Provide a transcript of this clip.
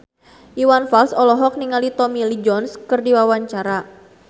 Iwan Fals olohok ningali Tommy Lee Jones keur diwawancara